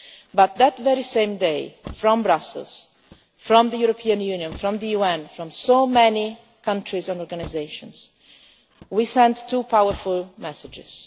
But that very same day, from Brussels, from the European Union, from the UN, from so many countries and organisations, we sent two powerful messages.